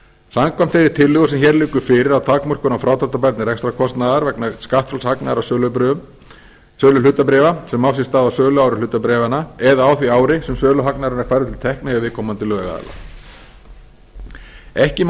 samkvæmt þeirri tillögu sem hér liggur fyrir að takmörkun á frádráttarbærni rekstrarkostnaðar vegna skattfrjáls hagnaðar af sölu hlutabréfa sem á sér stað á söluári hlutabréfanna eða á því ári sem söluhagnaður er færður til tekna hjá viðkomandi lögaðila ekki má